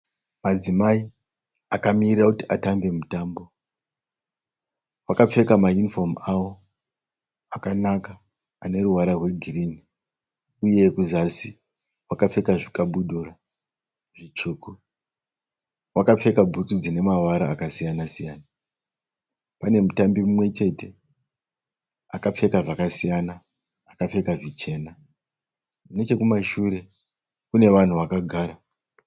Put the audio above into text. Madzimai akamiririra kuti atambe mutambo. Vakapfeka maunifomu avo akanaka ane ruvara rwegirini uye kuzasi vakapfeka zvikabudura zvitsvuku. Vakapfeka bhutsu dzine mavara akasiyana-siyana. Pane mutambi mumwe chete akapfeka zvakasiyana. Akapfeka zvichena. Nechekumashure kune vanhu vakagara.